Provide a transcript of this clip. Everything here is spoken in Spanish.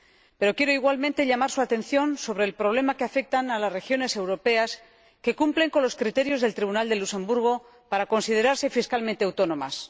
Pero quiero igualmente llamar su atención sobre el problema que afecta a las regiones europeas que cumplen con los criterios del Tribunal de Justicia de la Unión Europea para considerarse fiscalmente autónomas.